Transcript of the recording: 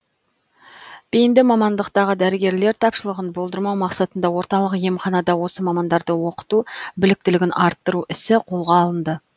бейінді мамандықтағы дәрігерлер тапшылығын болдырмау мақсатында орталық емханада осы мамандарды оқыту біліктілігін арттыру ісі қолға алынды